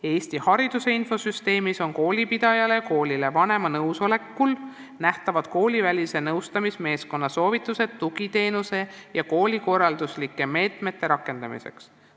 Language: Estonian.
Eesti Hariduse Infosüsteemis on koolipidajale ja koolile vanema nõusolekul nähtavad koolivälise nõustamismeeskonna soovitused tugiteenuse ja koolikorralduslike meetmete rakendamiseks.